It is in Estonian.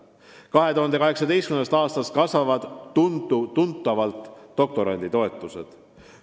2018. aastast kasvavad tuntavalt doktoranditoetused.